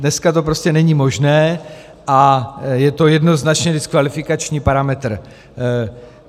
Dnes to prostě není možné, a je to jednoznačně diskvalifikační parametr.